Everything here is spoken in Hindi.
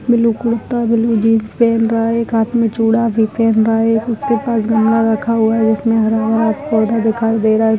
ब्लू कुर्ता ब्लू जीन्स पहन रहा है एक हाथ में चूड़ा भी पहन रहा है उसके पास गमला रखा हुआ है उसमे हरा हरा पौधा दिखाई दे रहा है।